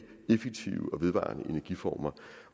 effektive og vedvarende energiformer